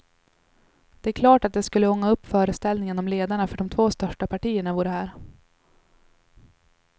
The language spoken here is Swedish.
Det är klart att det skulle ånga upp föreställningen om ledarna för de två största partierna vore här.